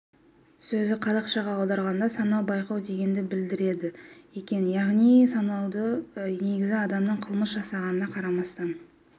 сөзі қазақшаға аударғанда сынау байқау дегенді білдіреді екен яғни сынаудың негізі адамның қылмыс жасағанына қарамастан